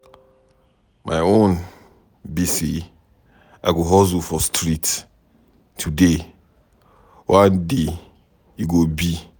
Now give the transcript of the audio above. My own be say I go hustle for street today, one day e go be.